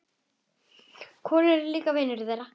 Kolur er líka vinur þeirra.